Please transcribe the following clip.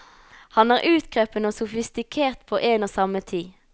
Han er utkrøpen og sofistikert på en og samme tid.